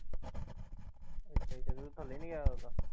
ਅੱਛਾ ਅੱਛਾ ਤੇ ਤੂੰ ਥੱਲੇ ਨੀ ਆਇਆ ਉਦੋਂ ਦਾ?